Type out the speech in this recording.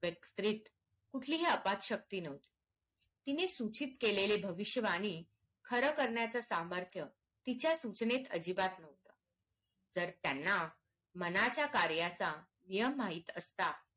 स्त्रीत कुठलीही आपात शक्ती न्हवती तिने सूचित केलेली भविष्य वाणी खरं करण्याचा समर्थ तिच्या सूचनेत अजिबात नव्हत जर त्यांना मनाच्या कार्याचा यम माहित असता